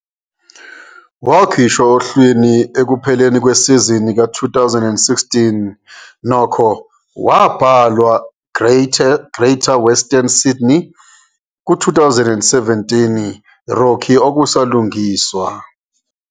Wakhishwa ohlwini ekupheleni kwesizini ka-2016, nokho, wabhalwa Greater Western Sydney ku- 2017 rookie okusalungiswa.